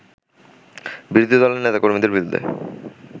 বিরোধী দলের নেতা-কর্মীদের বিরুদ্ধে